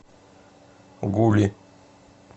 гули